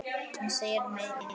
Hún sér mig ekki.